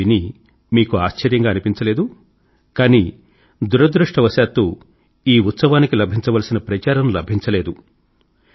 ఇది విని మీకు ఆశ్చర్యంగా అనిపించలేదు కానీ దురదృష్టవశాత్తు ఈ ఉత్సవానికి లభించవలసిన ప్రచారం లభించలేదు